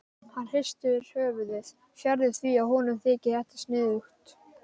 Hann hristir höfuðið, fjarri því að honum þyki þetta sniðugt.